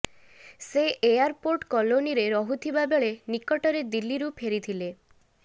ସେ ଏୟାରପୋର୍ଟ କଲୋନୀରେ ରହୁଥିବା ବେଳେ ନିକଟରେ ଦିଲ୍ଲୀରୁ ଫେରିଥିଲେ